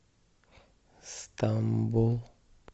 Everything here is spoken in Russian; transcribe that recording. стамбул